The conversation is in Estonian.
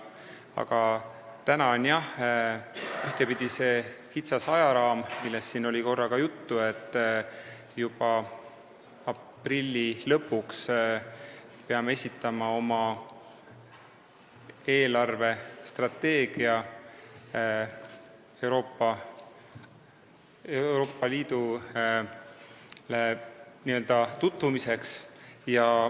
Aga täna on jah see kitsas ajaraam, millest siin oli korra ka juttu, et juba aprilli lõpuks peame esitama oma eelarvestrateegia Euroopa Liidule n-ö tutvumiseks.